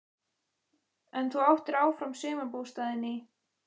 En þú áttir áfram sumarbústaðinn í